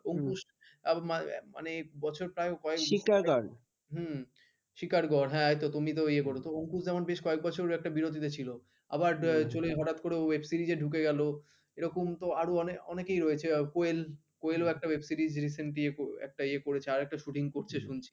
এরকম তো আরো আনেক অনেকেই রয়েছেন কোয়েল কোয়েলও একটা web series recent দিয়ে একটা ইয়ে করেছে আর একটা shooting করছে শুনছি।